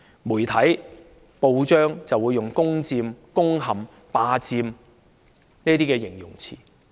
媒體、報章會用"攻佔"、"攻陷"、"霸佔"等詞語來形容此情況。